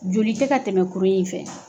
Joli tɛ ka tɛmɛ kuru in fɛ